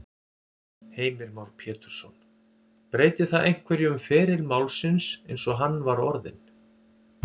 Heimir Már Pétursson: Breytir það einhverju um feril málsins eins og hann var orðinn?